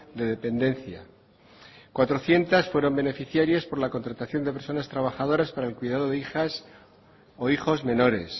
de dependencia cuatrocientos fueron beneficiarias por la contratación de personas trabajadoras para el cuidado de hijas o hijos menores